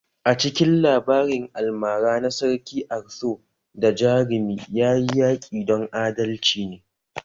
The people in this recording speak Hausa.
A cikin labarin almara na Sarki Arthur da jarumi, ya yi yaƙi don adalci ne